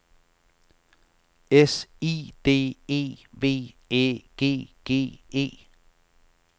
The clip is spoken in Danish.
S I D E V Æ G G E